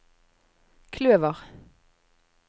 kløver